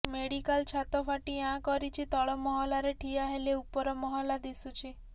medical ଛାତ ଫାଟି ଆଁ କରିଛି ତଳ ମହଲାରେ ଠିଆ ହେଲେ ଉପର ମହଲା ଦିଶୁଛି